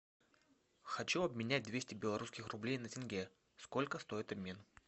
хочу обменять двести белорусских рублей на тенге сколько стоит обмен